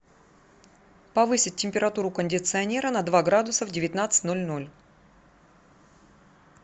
повысить температуру у кондиционера на два градуса в девятнадцать ноль ноль